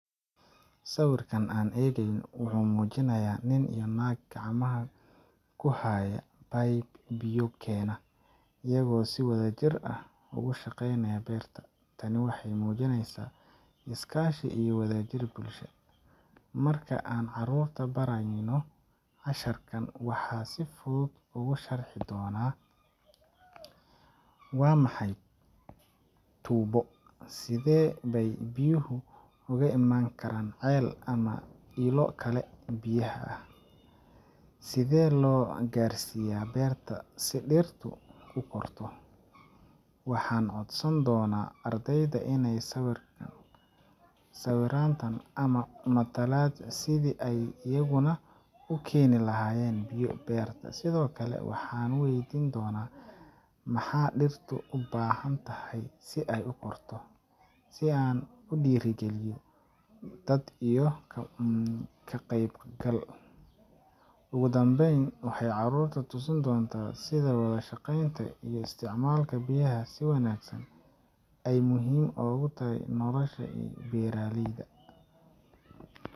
Sawirka aan eegayno wuxuu muujinayaa nin iyo naag gacmaha ku haya tuubbo pipe biyo keena, iyagoo si wadajir ah ugu shaqeynaya beerta. Tani waxay muujinaysaa iskaashi iyo wada jir bulsho. Marka aan carruurta barayno casharkan, waxaan si fudud ugu sharixi doonaa: Waa maxay tuubbo? Sidee bay biyuhu uga iman karaan ceel ama ilo kale oo biyaha ah? Sidee loo gaarsiiyaa beerta si dhirtu u korto? Waxaan codsan doonaa ardayda inay sawiraan tan ama matalaan sidii ay iyaguna u keeni lahaayeen biyo beerta. Sidoo kale, waxaan weydiin doonaa: 'Maxaa dhirta u baahan tahay si ay u korto?' si aan u dhiirrigelino dood iyo ka qaybgal. Ugu dambayn, waxaan carruurta tusin doontaa sida wada shaqeynta iyo isticmaalka biyaha si wanaagsan ay muhiim ogu tahay nolosha iyo beeraleyda.